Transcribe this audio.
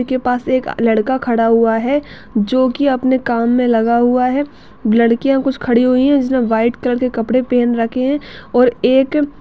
के पास एक लड़का खड़ा हुआ है जो कि अपने काम में लगा हुआ है लड़कियां कुछ खड़ी हुई है जिसने व्हाइट कलर के कपड़े पहन रखे हैं और एक --